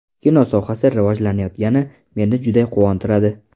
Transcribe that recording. Kino sohasi rivojlanayotgani meni juda quvontiradi.